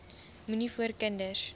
moenie voor kinders